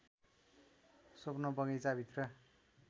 स्वप्न बगैंचाभित्र